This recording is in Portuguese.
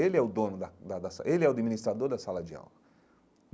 Ele o dono da da da sa ele é o administrador da sala de aula.